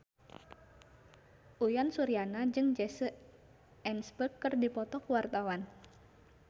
Uyan Suryana jeung Jesse Eisenberg keur dipoto ku wartawan